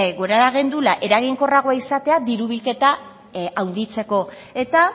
gura gendula eraginkorragoa izatea diru bilketa handitzeko eta